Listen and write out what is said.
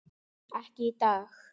Ekki í dag.